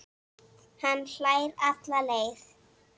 Hann hlær alla leið